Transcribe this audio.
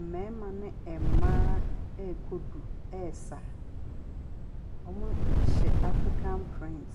Mmarima ne mmaa rekɔ du resa. Wɔhyɛ African print.